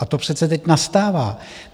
A to přece teď nastává.